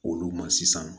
Olu ma sisan